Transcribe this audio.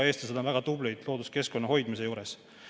Eestlased on looduskeskkonna hoidmisel väga tublid.